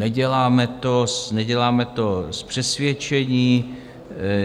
Neděláme to z přesvědčení,